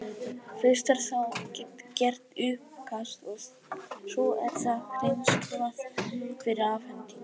Fyrst er þá gert uppkast og svo er það hreinskrifað fyrir afhendingu.